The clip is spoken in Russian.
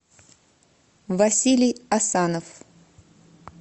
василий асанов